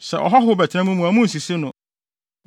“ ‘Sɛ ɔhɔho bɛtena mo mu a munnsisi no.